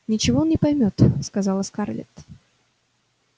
ничего он не поймёт сказала скарлетт